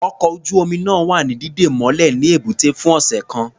Ọkọ̀ ojú-omi náà wa ní dídè mọ́lẹ̀ ní ẹ̀bútẹ́ fún ọ̀sẹ̀ kan.